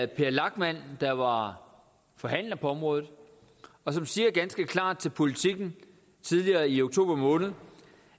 per lachmann der var forhandler på området og han siger ganske klart til politiken tidligere i oktober måned